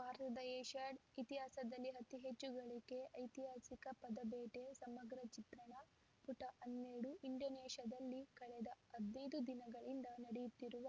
ಭಾರತದ ಏಷ್ಯಾಡ್‌ ಇತಿಹಾಸದಲ್ಲೇ ಅತಿ ಹೆಚ್ಚು ಗಳಿಕೆ ಐತಿಹಾಸಿಕ ಪದಕಬೇಟೆ ಸಮಗ್ರ ಚಿತ್ರಣ ಪುಟ ಹನ್ನೆರಡು ಇಂಡೋನೇಷ್ಯಾದಲ್ಲಿ ಕಳೆದ ಹದಿನೈದು ದಿನಗಳಿಂದ ನಡೆಯುತ್ತಿರುವ